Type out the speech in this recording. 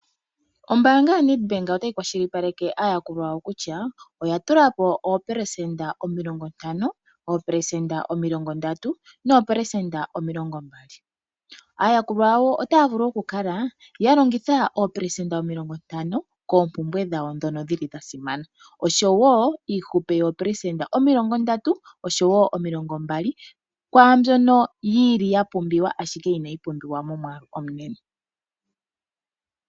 Ombaanga yo NedBank otayi kwashilipaleke aayakulwa yawo kutya oya tulapo 50%, 30%, no 20%. Aayakulwa yawp otaya vulu okukala ya longitha 50% koompumbwe dhawo dhono dhili dha simana, osjowo iihupe yo 30% oshowo 20% kwaambyono yili ya pumbiwa ashike inayi pumbiwa momwaalu omunene.